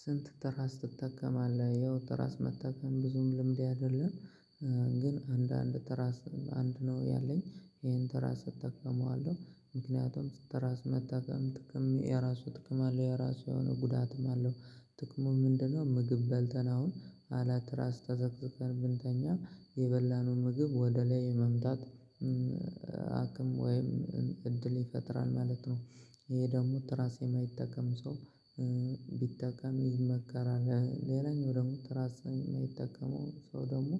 ስንት? ትራስ ትጠቀማለህ ያው ትራስ መጠቀም ብዙም ልምዴ አይደለም ግን አንድ አንድ ትራስ አንድ ነው። ያለኝ ይሄን ትራስ እጠቀመዋለሁ ምክንያቱም ትራስ መጠቀም ጥቅም የራሱ ጥቅም አለው። የራሱ የሆነ ጉዳትም አለው ጥቅሙ ምንድን ነው? ምግብ በልተን አሁን አለ ራስ ተዘቅዝቀን ብንተኛ የበላነው ምግብ ወደ ላይ የመምጣት አቅም ወይም እድል ይፈጥራል ማለት ነው። ይሄ ደግሞ ትራስ የማይጠቀም ሰው ቢጠቀም ይመከራል። ሌላኛው ደግሞ ትራስን ሚጠቀመው ሰው ደግሞ